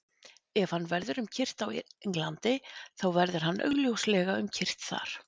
Ef hann verður um kyrrt á Englandi, þá verður hann augljóslega um kyrrt þar.